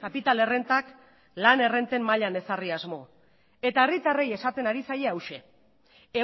kapital errentak lan errenten mailan ezarri asmo eta herritarrei esaten ari zaie hauxe